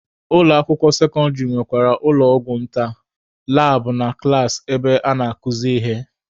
Ụlọ akwụkwọ sekọndịrị nwekwara ụlọ ọgwụ nta, labụ na klaasị ebe a na-akuzi ihe.